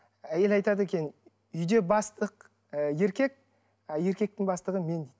әйелі айтады екен үйде бастық ы еркек еркектің бастығы мен дейді